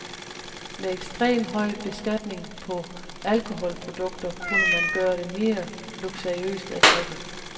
Med ekstrem høj beskatning på alkoholprodukter kunne man gøre det mere luksuriøst at drikke.